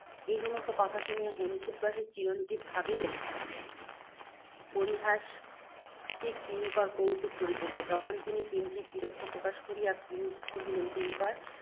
এই সমস্ত কথা শুনিয়া, হেমকূটবাসী চিরঞ্জীব ভাবিলেন, পরিহাসরসিক কিঙ্কর কৌতুক করিতেছে। তখন তিনি কিঞ্চিৎ বিরক্তি প্রকাশ করিয়া কহিলেন, কিঙ্কর!